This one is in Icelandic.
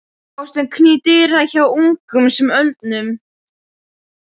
Ástin knýr dyra hjá ungum sem öldnum.